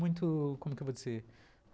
Muito, como que eu vou dizer?